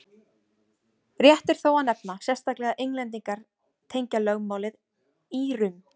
Rétt er þó að nefna sérstaklega að Englendingar tengja lögmálið Írum.